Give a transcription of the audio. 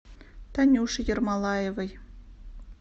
танюше ермолаевой